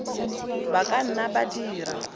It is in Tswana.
ba ka nna ba dira